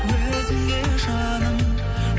өзіңе жаным